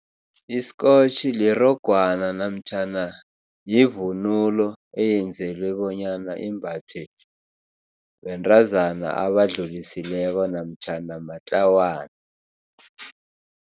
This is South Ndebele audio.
Isikotjhi lirogwana namtjhana yivunulo eyenzelwa bonyana imbathwe bentazana abadlulisileko namtjhana matlawana.